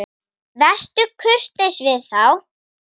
Vertu kurteis við þá!